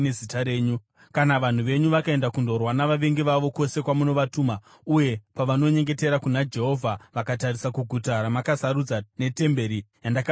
“Kana vanhu venyu vakaenda kundorwa navavengi vavo, kwose kwamunovatuma, uye pavanonyengetera kuna Jehovha vakatarisa kuguta ramakasarudza netemberi yandavakira Zita renyu,